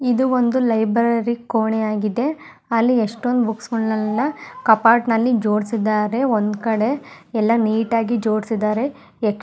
ಇದು ಒಂದು ಲೈಬ್ರರಿ ಕೋಣೆ ಆಗಿದೆ ಅಲ್ಲಿಎಷ್ಟೊಂದು ಬುಕ್ಸ್ ಗಳನ್ನೆಲ್ಲಾ ಕಪಾಟನಲ್ಲಿ ಜೋಡಸಿದಾರೆ ಒಂದಕಡೆ ಎಲ್ಲಾ ನೀಟ್ ಆಗಿ ಜೋಡಸಿದಾರೆ.